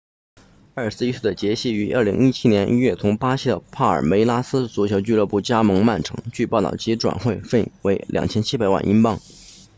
21岁的杰西 jesus 于2017年1月从巴西的帕尔梅拉斯足球俱乐部加盟曼城据报道其转会费为2700万英镑